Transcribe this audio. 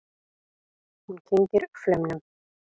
Hún kyngir flaumnum.